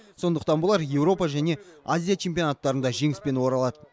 сондықтан болар еуропа және азия чемпионаттарында жеңіспен оралады